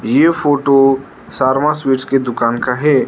ये photo Sharma sweets के दुकान का है।